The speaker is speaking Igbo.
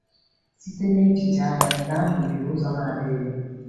Site n’echiche agha, nke ahụ yiri ụzọ na-adịghị mma.